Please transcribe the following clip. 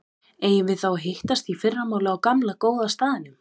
Eigum við þá að hittast í fyrramálið á gamla, góða staðnum?